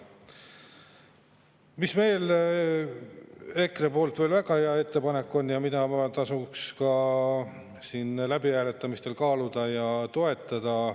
Mis veel EKRE poolt väga hea ettepanek on ja mida tasuks ka siin läbihääletamistel kaaluda ja toetada.